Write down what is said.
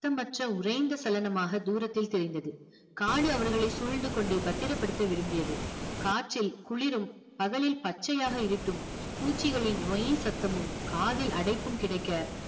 சத்தமற்ற உறைந்த சலனமாக தூரத்தில் தெரிந்தது காடு அவர்களை சூழ்ந்து கொண்டு பத்திரப்படுத்த விரும்பியது காற்றில் குளிரும் பகலில் பச்சையாக இருட்டும் பூச்சிகளின் வைன் சத்தமும் காதில் அடைப்பும் கிடைக்க